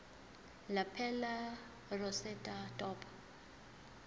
lapel rosette top